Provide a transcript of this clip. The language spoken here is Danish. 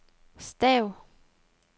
stav